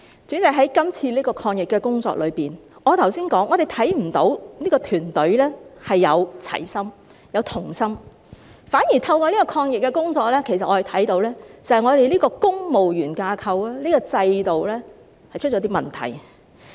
主席，在今次的抗疫工作中，我剛才已提到，我們看不到這個團隊展示齊心或同心，反而透過抗疫工作，我們其實看到這個公務員架構和制度出了一些問題。